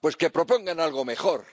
Pues que propongan algo mejor.